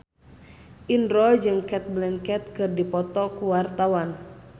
Indro jeung Cate Blanchett keur dipoto ku wartawan